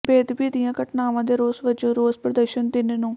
ਬੇਅਦਬੀ ਦੀਆਂ ਘਟਨਾਵਾਂ ਦੇ ਰੋਸ ਵਜੋਂ ਰੋਸ ਪ੍ਰਦਰਸ਼ਨ ਤਿੰਨ ਨੂੰ